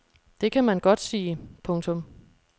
Det kan man godt sige. punktum